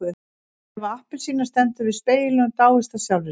Eva appelsína stendur við spegilinn og dáist að sjálfri sér.